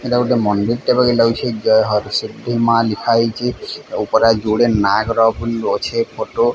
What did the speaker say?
ଏଟା ଗୁଟେ ମନ୍ଦିରଟେ ବାଗେ ଲାଗୁଚି ଜୟ ସିଦ୍ଧି ମା ଲିଖାହେଇଛି ଉପରେ ଜୁଡ଼େ ନାଗର ଅଛିଫଟୋ।